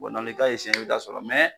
Dɔɔnin dɔɔnin ka b'a k'a sɔrɔ, mɛ